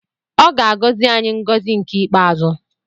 Ọ ga-agọzi anyị ngọzi nke ikpeazụ.